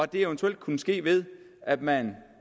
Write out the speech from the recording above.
det eventuelt kunne ske ved at man